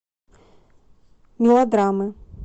мелодрамы